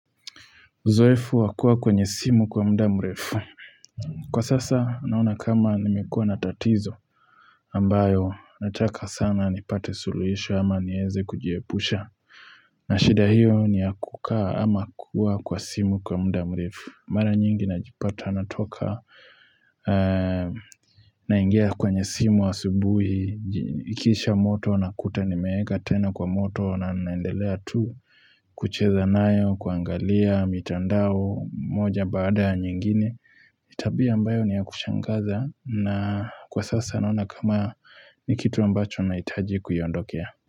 Uzoefu wa kuwa kwenye simu kwa muda mrefu. Kwa sasa naona kama nimekuwa na tatizo ambayo nataka sana nipate suluisho ama nieze kujiepusha. Na shida hiyo ni ya kukaa ama kuwa kwa simu kwa muda mrefu Mara nyingi najipata natoka naingia kwenye simu asubuhi Ikiisha moto nakuta nimeeka tena kwa moto na naendelea tu kucheza nayo, kuangalia, mitandao, moja baada ya nyingine ni tabia ambayo ni ya kushangaza na kwa sasa naona kama ni kitu ambacho nahitaji kuiondokea.